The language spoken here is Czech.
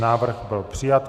Návrh byl přijat.